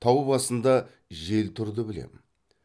тау басында жел тұрды білем